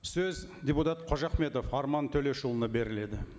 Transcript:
сөз депутат қожахметов арман төлешұлына беріледі